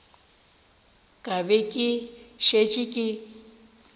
ka be ke šetše ke